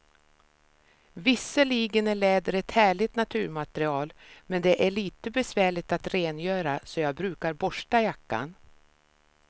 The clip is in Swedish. Visserligen är läder ett härligt naturmaterial, men det är lite besvärligt att rengöra, så jag brukar borsta jackan.